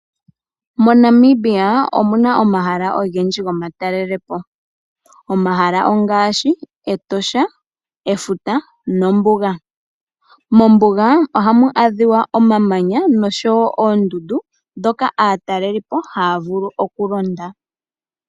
Namibia olina omahala ogendji gomatalelopo. Omahala ongaashi Etosha ,Efuta nombuga. Mombuga ohamu adhika omamanya nosho woo ondundu dhoka aatalelipo haya vulu okulonda.